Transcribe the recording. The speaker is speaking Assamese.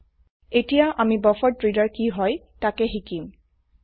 এতিয়া আমি বাফাৰেড্ৰেডাৰ কি হয় তাকে শিকিম160